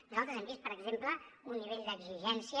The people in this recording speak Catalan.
nosaltres hem vist per exemple un nivell d’exigència